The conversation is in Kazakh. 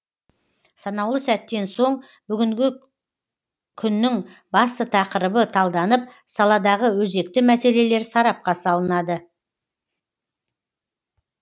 санаулы сәттен соң бүгінгі күннің басты тақырыбы талданып саладағы өзекті мәселелер сарапқа салынады